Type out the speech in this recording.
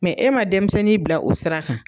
e ma denmisɛnnin bila o sira kan.